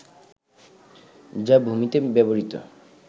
যা ভূমিতে ব্যবহৃত